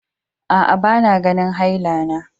Aa, ba na ganin haila na.